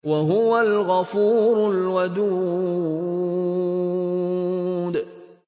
وَهُوَ الْغَفُورُ الْوَدُودُ